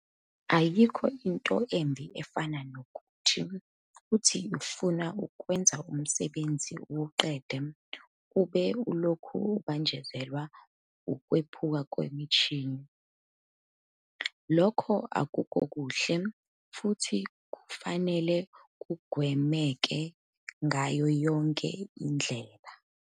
Ayikho into embi efana nokuthi, uthi ufuna ukwenza umsebenzi uwuqede ube ulokhu ubanjezelwa ukwephuka kwemishini. Lokho akukuhle futhi kufanele kugwemeke ngayo yonke indlela.